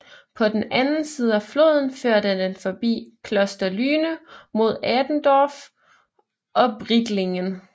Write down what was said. På den anden side af floden førte den forbi Kloster Lüne mod Adendorf og Brietlingen